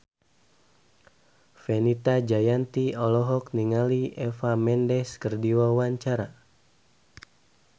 Fenita Jayanti olohok ningali Eva Mendes keur diwawancara